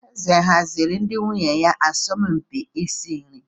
Eze ọ haziri ndị nwunye ya asọmpi isi nri?